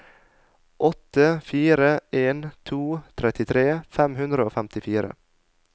åtte fire en to trettitre fem hundre og femtifire